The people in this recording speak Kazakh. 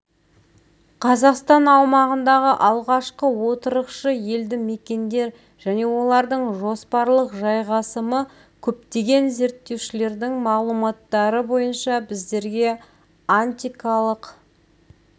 қазақстан аумағындағы алғашқы отырықшы елді мекендер және олардың жоспарлық жайғасымы көптеген зерттеушілердің мағлұматтары бойынша біздерге антикалық